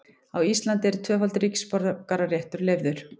Á Íslandi er tvöfaldur ríkisborgararéttur leyfður.